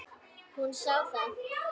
Hún sá það.